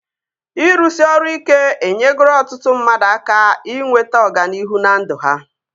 Ịrụsị ọrụ ike enyegoro ọtụtụ mmadụ aka inweta ọganihu na ndụ ha